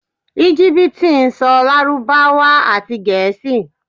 Ígíptì ń sọ Lárúbáwá àti Gẹ̀ẹ́sì.